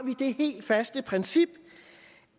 det helt faste princip